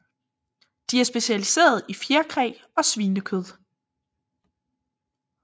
De er specialiseret i fjerkræ og svinekød